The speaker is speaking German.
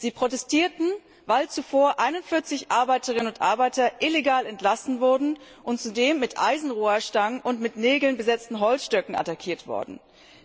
Sie protestierten, weil zuvor 41 Arbeiterinnen und Arbeiter illegal entlassen und zudem mit Eisenrohrstangen und mit mit Nägeln besetzten Holzstöcken attackiert worden waren.